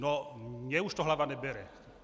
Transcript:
No mně už to hlava nebere.